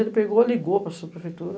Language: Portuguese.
Ele pegou, ligou para subprefeitura.